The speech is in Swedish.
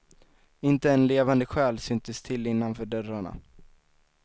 Inte en levande själ syntes till innanför dörrarna.